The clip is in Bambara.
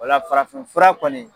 O la farafinfura kɔni